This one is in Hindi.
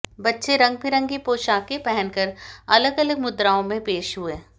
बच्चे रंग बिरंगी पोशाकें पहनकर अलग अलग मुद्राओं में पेश हुए